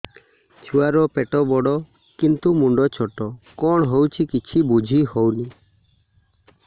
ଛୁଆର ପେଟବଡ଼ କିନ୍ତୁ ମୁଣ୍ଡ ଛୋଟ କଣ ହଉଚି କିଛି ଵୁଝିହୋଉନି